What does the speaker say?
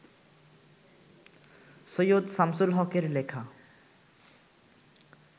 সৈয়দ শামসুল হকের লেখা